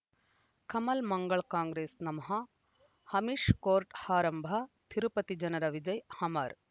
ಕಮಲ್ ಮಂಗಳ್ ಕಾಂಗ್ರೆಸ್ ನಮಃ ಅಮಿಷ್ ಕೋರ್ಟ್ ಆರಂಭ ತಿರುಪತಿ ಜನರ ವಿಜಯ ಅಮರ್